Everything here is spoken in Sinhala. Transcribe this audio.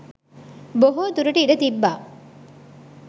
බොහෝදුරට ඉඩ තිබ්බා.